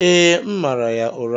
Ee, m mara ya ụra.